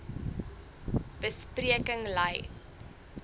be spreking lei